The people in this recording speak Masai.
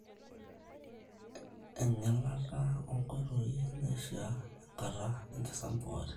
en`gelata onkoitoi naishiaa enkata enkisampuare